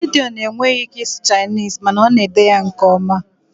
Gideon enweghị ike ịsụ Chinese mana ọ na-ede ya nke ọma